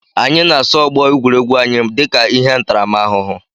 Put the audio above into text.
Anyị na-asụ ọgbọ egwuregwu anyị dịka ihe ntaramahụhụ